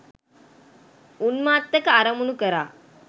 උන්මත්තක අරමුණු කරා